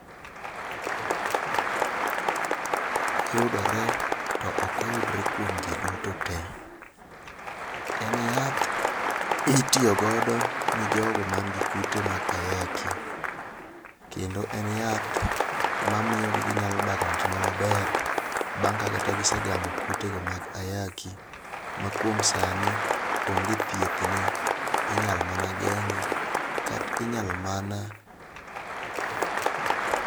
Koyudore to ok oyudre kuom ji duto te. En yath, itiyo godo ni jogo man gi kute mag ayaki, kendo en yath mamiyo gi ginyalo dak kuom ngima maber bang' ka kata gisegamo kutego maga ayaki, ma kuom sani onge thiethne. Inyalo mana geng'e, kata inyalo mana.